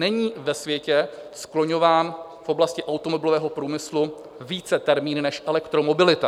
Není ve světě skloňován v oblasti automobilového průmyslu více termín než elektromobilita.